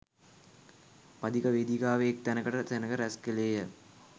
පදික වේදිකාවේ එක් තැනකට සෙනඟ රැස් කළේය